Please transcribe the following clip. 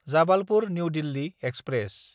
Jabalpur New Delhi express